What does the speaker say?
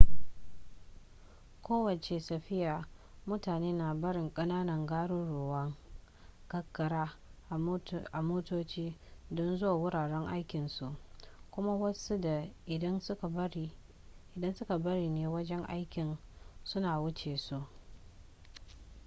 a kowace safiya mutane na barin ƙananan garuruwan karkara a motoci don zuwa wuraren ayyukan su kuma wasu da idan suka bari ne wajen aikin su na wuce su